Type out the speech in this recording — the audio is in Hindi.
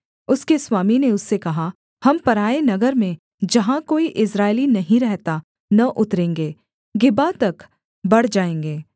उसके स्वामी ने उससे कहा हम पराए नगर में जहाँ कोई इस्राएली नहीं रहता न उतरेंगे गिबा तक बढ़ जाएँगे